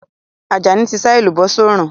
Àjàní ti sá èlùbọ́ sórùn